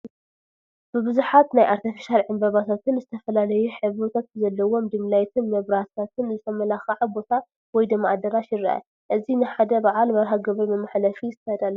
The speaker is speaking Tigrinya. ብቡዛሓት ናይ ኣርቴፊሻል ዕንበባታትን ዝተፈላለዩ ሕብርታት በዘለዎም ዲምላይት መብራሕትታትን ዝመልከ0 ቦታ ወይ ድማ ኣዳራሽ ይረአ፡፡ እዚ ንሓደ በዓል መርሃ ግብሪ መሕለፊ ዝተዳለወ እዩ፡፡